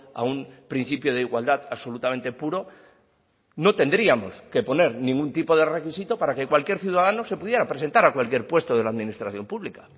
a un principio de igualdad absolutamente puro no tendríamos que poner ningún tipo de requisito para que cualquier ciudadano se pudiera presentar a cualquier puesto de la administración pública